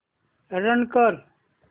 run कर